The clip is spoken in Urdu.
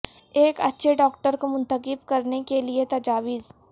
ایک اچھے ڈاکٹر کو منتخب کرنے کے لئے تجاویز